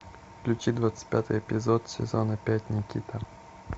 включи двадцать пятый эпизод сезона пять никита